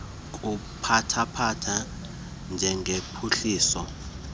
kubathatha njengophuhliso olumandla